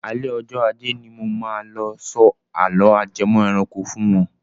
Alẹ́ ọjọ ajẹ́ ni mo máa lọ sọ àló ajẹmọ́ ẹranko fún wọn.